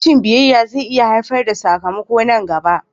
Rashin biyayya zai iya haifar da sakamako nan gaba